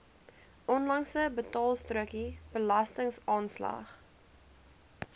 onlangse betaalstrokie belastingaanslag